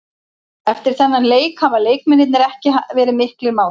Eftir þennan leik hafa leikmennirnir ekki verið miklir mátar.